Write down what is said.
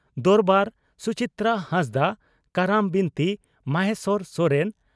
ᱫᱚᱨᱵᱟᱨ (ᱥᱩᱪᱤᱛᱨᱟ ᱦᱟᱸᱥᱫᱟᱜ) ᱠᱟᱨᱟᱢ ᱵᱤᱱᱛᱤ (ᱢᱚᱦᱮᱥᱚᱨ ᱥᱚᱨᱮᱱ)